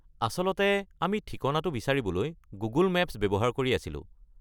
আচলতে আমি ঠিকনাটো বিচাৰিবলৈ গুগল মেপছ ব্যৱহাৰ কৰি আছিলোঁ।